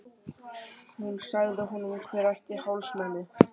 Hún sagði honum hver ætti hálsmenið.